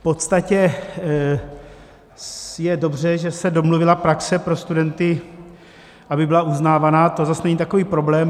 V podstatě je dobře, že se domluvila praxe pro studenty, aby byla uznávaná, to zase není takový problém.